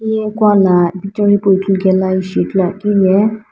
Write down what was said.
hiye kuala picture hipau huthukela ishi ithuluakeu ye.